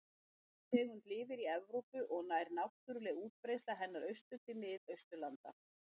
Sú tegund lifir í Evrópu og nær náttúruleg útbreiðsla hennar austur til Mið-Austurlanda.